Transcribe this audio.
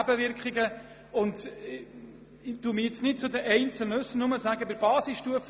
Zu den einzelnen Punkten äussere ich mich jetzt nicht, aber beispielshaft sage ich kurz etwas zur Basisstufe.